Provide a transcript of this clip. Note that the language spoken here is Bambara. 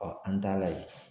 an t'a la